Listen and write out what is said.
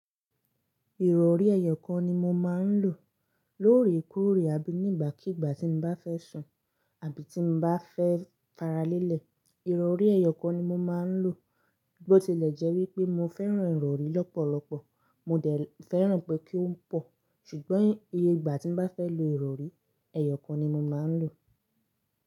Ìrọ̀rí ẹyọ kan ni mo máa ń lò lórè kóòrè àbí nígbàkígbà tí mo bá fẹ́ sùn àbí tí mo bá fẹ́ faralẹ́lẹ̀. Ìrọ̀rí ẹyọ kan ni mo máa ń lò. Bí ó tilẹ̀ jẹ́ wípé mo fẹ́ràn ìrọ̀rí lọ́pọ̀lọpọ̀, mo dẹ̀ fẹ́ràn pé kí ó pọ̀. Ṣùgbọ́n iye igba tí mo bá fẹ́ lo ìrọ̀rí, ẹyọ kan ni mo máa ń lò.